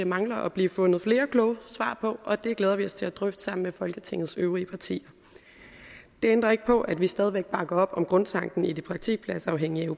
mangler at blive fundet flere kloge svar på og det glæder vi os til at drøfte sammen med folketingets øvrige partier det ændrer ikke på at vi stadig bakker op om grundtanken i det praktikpladsafhængige